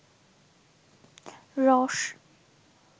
রস